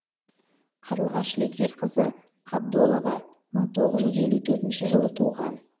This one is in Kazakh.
қарлығаш лекерқызы қабдолова мың тоғыз жүз елу төртінші жылы туған